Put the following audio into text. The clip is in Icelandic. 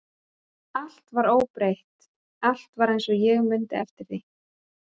Allt var óbreytt, allt var eins og ég mundi eftir því.